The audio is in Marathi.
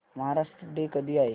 महाराष्ट्र डे कधी आहे